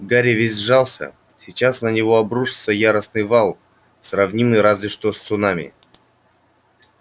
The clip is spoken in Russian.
гарри весь сжался сейчас на него обрушится яростный вал сравнимый разве что с цунами